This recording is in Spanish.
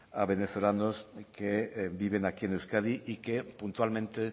a venezolanos que viven aquí en euskadi y que puntualmente